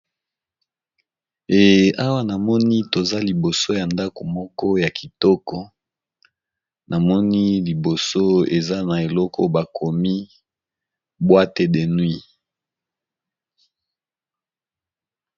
Ehh na moni toza liboso ndagu Moko ya Kitoko kiza Eloko bakomi boîte de nuit